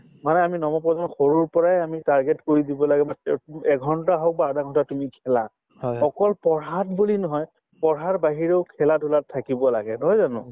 মানে আমি নৱপ্ৰজন্মক সৰুৰ পৰাই আমি target কৰি দিব লাগে মানে এঘণ্টা হওক বা আধাঘণ্টা তুমি খেলা অকল পঢ়াত বুলি নহয় পঢ়াৰ বাহিৰেও খেলা-ধূলাত থাকিব লাগে নহয় জানো